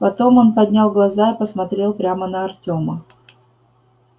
потом он поднял глаза и посмотрел прямо на артёма